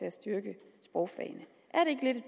at styrke sprogfagene